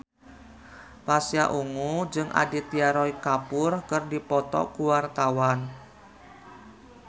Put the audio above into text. Pasha Ungu jeung Aditya Roy Kapoor keur dipoto ku wartawan